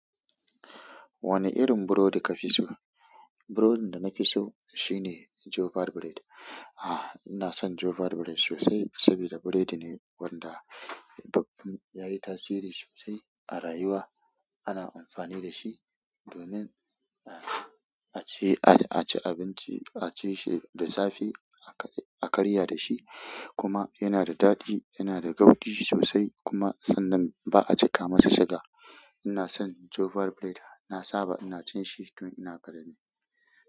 Wane irin burodi ka fi so? Burodin da na fi so shine jofa bread. Ah, ina son jofa bread sosai saboda biredi ne wanda ya yi tasiri sosai a rayuwa. Ana amfani da shi domin a ci, a ci abinci, a ci shi da safe, a karya da shi. Kuma yana da daɗi, yana da gaudi sosai, kuma sannan ba a cika masa siga. Inason jofa bread na saba ina cin shi tun ina ƙarami.